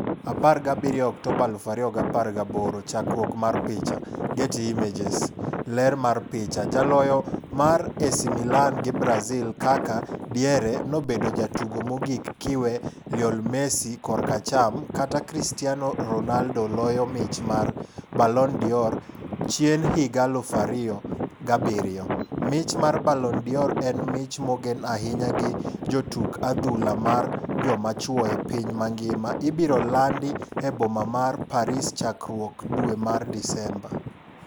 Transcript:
17 Oktoba 2018 Chakruokm mar picha, Getty Images. Ler mar picha, jaloyo mar AC Milan gi Brazil Kaka (diere) nobedo jatugo mogik kiwe Lionel Messi (kor acham) kata Cristiano Ronaldo loyo mich mar Ballon d'or, chien higa 2007. Mich mar Ballon d'Or - en mich mogen ahinya gi jotuk adhula mar joma chuo e piny ngima ibiro landi e boma mar Paris chakruok dwe mar Disemba.